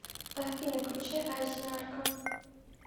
афина включи айси нарко